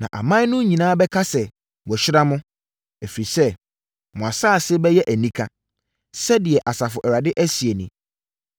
“Na aman no nyinaa bɛka sɛ wɔahyira mo, ɛfiri sɛ, mo asase so bɛyɛ anika,” sɛdeɛ Asafo Awurade seɛ nie.